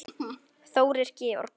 Þórir Georg.